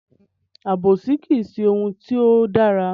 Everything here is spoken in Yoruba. Àbòsí kìí ṣe ohun tí ó dára.